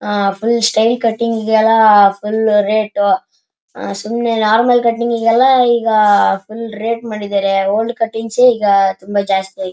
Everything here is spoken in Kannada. ಆಹ್ಹ್ ಫ್ರೀ ಸ್ಟೈಲ್ ಕಟ್ಟಿಂಗ್ ಇದೆಯಲ್ಲ ಫುಲ್ ರೇಟ್ ಈಗ ನಾರ್ಮಲ್ ಕಟ್ಟಿಂಗ್ ಗೆಲ್ಲ ತುಂಬಾ ರೇಟ್ ಮಾಡಿದ್ದಾರೆ ಓಲ್ಡ್ ಕಟ್ಟಿಂಗ್ ಈಗ ಜಾಸ್ತಿಯಾಗಿದೆ.